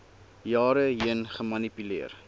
jare heen gemanipuleer